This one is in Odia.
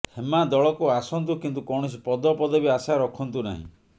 ହେମା ଦଳକୁ ଆସନ୍ତୁ କିନ୍ତୁ କୌଣସି ପଦ ପଦବୀ ଆଶା ରଖନ୍ତୁ ନାହିଁ